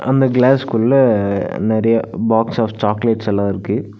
அந்த கிளாஸ் குள்ள நெறைய பாக்ஸ் ஆஃப் சாக்லேட்ஸ் எல்லா இருக்கு.